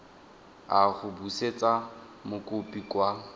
a go busetsa mokopi kwa